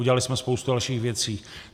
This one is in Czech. Udělali jsme spoustu dalších věcí.